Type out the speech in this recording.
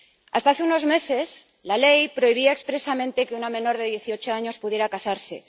Hasta hace unos meses, la ley prohibía expresamente que una menor de dieciocho años pudiera casarse.